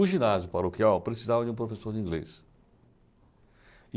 O ginásio paroquial precisava de um professor de inglês.